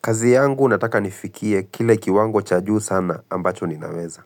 Kazi yangu nataka nifikie kile kiwango cha juu sana ambacho ninaweza.